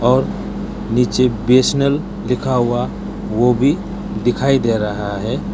और नीचे B S N L लिखा हुआ वो भी दिखाई दे रहा है।